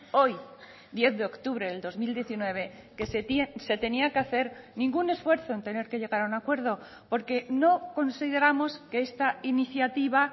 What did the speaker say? hoy diez de octubre del dos mil diecinueve que se tenía que hacer ningún esfuerzo en tener que llegar a un acuerdo porque no consideramos que esta iniciativa